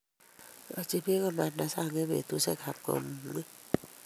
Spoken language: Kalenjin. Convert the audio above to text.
Iroti biik ko manda sang' eng' betusiekab kamung'et